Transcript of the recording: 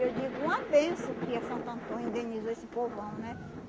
Eu digo uma benção que a Santo Antônio indenizou esse povão, né?